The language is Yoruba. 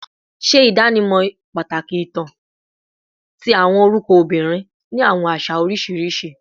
Ṣe idanimọ pataki itan ti awọn orukọ obinrin ni awọn aṣa oriṣiriṣi